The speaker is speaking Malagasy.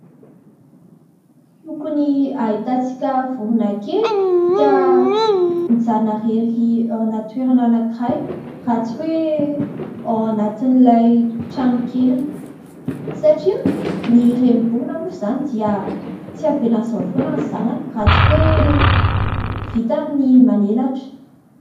Tsy tokony hahitantsika vorona kely ka mijanona irery ao anaty toerana anankiray, raha tsy hoe ao anatin'ilay tranokeliny satria ny renim-borona moa izany dia tsy avelany amin' izao foana ny zanany, raha tsy hoe vitany ny manan'elatra.